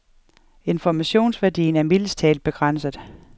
Informationsværdien er mildest talt begrænset.